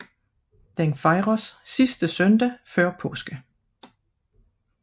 Den fejres sidste søndag før påske